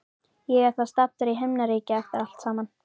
Ég er þá staddur í himnaríki eftir allt saman.